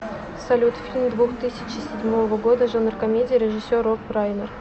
салют фильм двух тысячи седьмого года жанр комедия режисер роб райнер